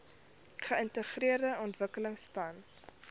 geintegreerde ontwikkelingsplan idp